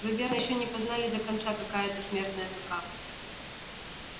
вы верно ещё не познали до конца какая это смертная тоска